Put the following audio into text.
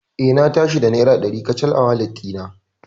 Eh, Na tashi da naira dari kacal a walet ɗina.